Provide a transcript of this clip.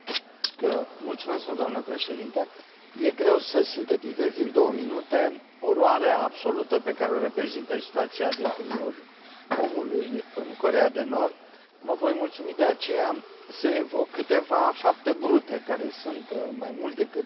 Domnule Președinte, este greu să sintetizezi în două minute oroarea absolută pe care o reprezintă situația drepturilor omului în Coreea de Nord. Mă voi mulțumi, de aceea, să evoc câteva fapte brute care sunt mai mult decât elocvente.